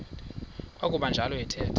kwakuba njalo athetha